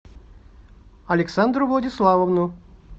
александру владиславовну